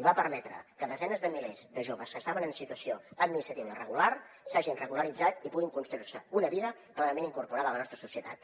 i va permetre que desenes de milers de joves que estaven en situació administrativa irregular s’hagin regularitzat i puguin construir se una vida plenament incorporada a la nostra societat